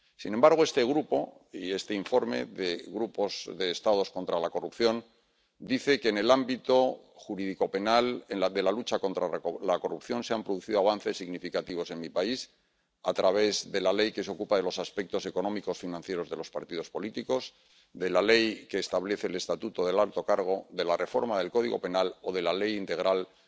Sin embargo, este Grupo y este informe del Grupo de Estados contra la Corrupción, dice que en el ámbito jurídico penal de la lucha contra la corrupción se han producido avances significativos en mi país, a través de la ley que se ocupa de los aspectos económicos y financieros de los partidos políticos, de la ley que establece el estatuto del alto cargo, de la reforma del Código Penal o de la ley integral de